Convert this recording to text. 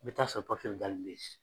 I bɛ taa sɔrɔ dalen bɛ ye.